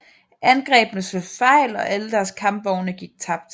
Angrebene slog fejl og alle deres kampvogne gik tabt